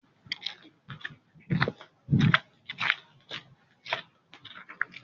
Ọ̀sẹ̀ tó ń bọ̀ ní wọn yóò san béèlì.